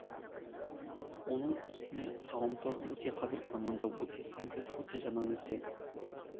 оның үстіне ғаламтор өте қазіргі заманда өте сәнді өте жаңа нәрсе